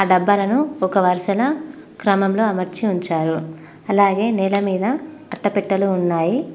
డబ్బాలను ఒక వరుసన క్రమంలో అమర్చి ఉంచారు అలాగే నేల మీద అట్టపెట్టలు ఉన్నాయి.